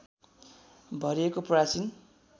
भरिएको प्राचीन